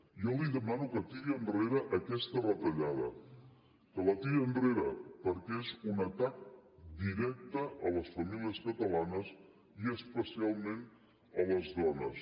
jo li demano que tiri enrere aquesta retallada que la tiri enrere perquè és un atac directe a les famílies catalanes i especialment a les dones